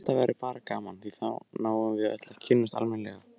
Þetta verður bara gaman og þá náum við öll að kynnast almennilega.